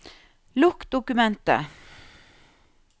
Lukk dokumentet